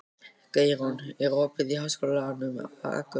Geirrún, er opið í Háskólanum á Akureyri?